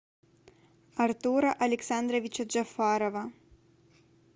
артура александровича джафарова